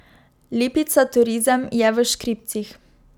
Lipica Turizem je v škripcih.